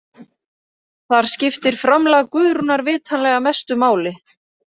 Þar skiptir framlag Guðrúnar vitanlega mestu máli.